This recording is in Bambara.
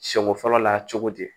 Siɲɛ ko fɔlɔ la cogo di